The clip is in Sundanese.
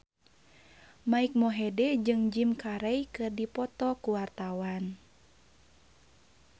Mike Mohede jeung Jim Carey keur dipoto ku wartawan